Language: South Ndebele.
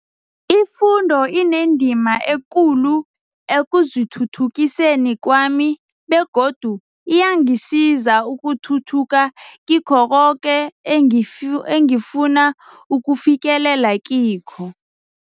Ifundo inendima ekulu ekuzithuthukiseni kwami begodu iyangisiza ukuthuthuka kikho koke engifu engifuna ukufikelela kikho.